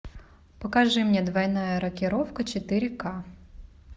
покажи мне двойная рокировка четыре ка